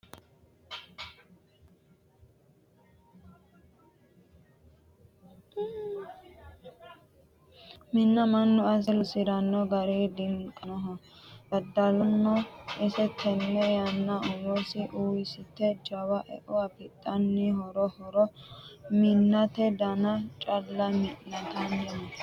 Minna mannu asse loosirano gari diniqanoho daddalano isi tene yannara umonsa woyyeesite jawa eo afidhanni haaro haaro minnate dana calla mi'nittanni no